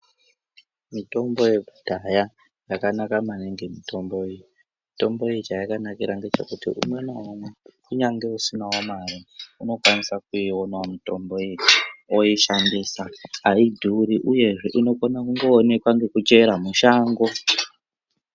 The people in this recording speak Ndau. Mitombo yekudhaya yakanaka maningi mitomboyo mitombo iyi chayakanakira ngechekuti umwe naumwe kunyangwe usina mare unokwanisa kuyionawo mitombo iyi oyishandisa ayidhuri uyezve inokona kungoonekwa ngekuchera mushango.